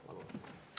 Palun!